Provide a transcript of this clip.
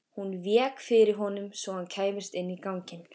Hún vék fyrir honum svo hann kæmist inn í ganginn.